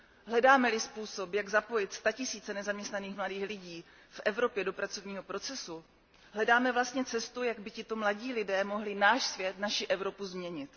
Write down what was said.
Hledáme li způsob, jak zapojit statisíce nezaměstnaných mladých lidí v Evropě do pracovního procesu, hledáme vlastně cestu, jak by tito mladí lidé mohli náš svět, naši Evropu, změnit.